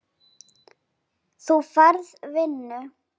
Þú færð vinnu.